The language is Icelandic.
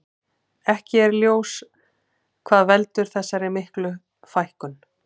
Ekki er ljós hvað veldur þessar miklu fækkun.